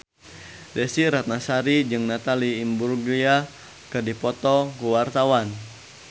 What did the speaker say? Desy Ratnasari jeung Natalie Imbruglia keur dipoto ku wartawan